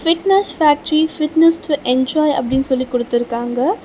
Fitness factory fitness to enjoy அப்டி சொல்லி குடுத்துருக்காங்க.